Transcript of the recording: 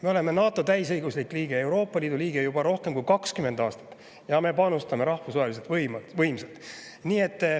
Me oleme NATO täisõiguslik liige ja Euroopa Liidu liige juba rohkem kui 20 aastat ning me panustame rahvusvaheliselt võimsalt.